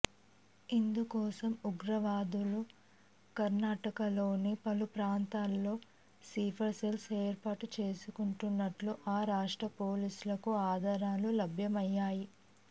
ఇందుకోసం ఉగ్రవాదులు కర్ణాటకలోని పలు ప్రాంతాల్లో స్లీపర్ సెల్స్ ఏర్పాటు చేసుకుంటున్నట్లు ఆ రాష్ట్ర పోలీసులకు ఆధారాలు లభ్యమయ్యాయి